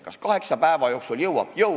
Kas kaheksa päeva jooksul jõuab?